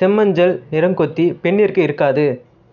செம்மஞ்சள் நிறக்கொத்து பெண்ணிற்கு இருக்காது